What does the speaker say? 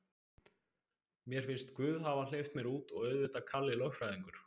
Mér finnst guð hafa hleypt mér út og auðvitað Kalli lögfræðingur.